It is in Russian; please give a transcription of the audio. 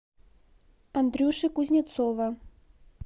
андрюши кузнецова